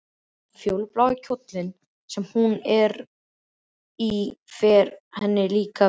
Fjólublái kjóllinn sem hún er í fer henni líka vel.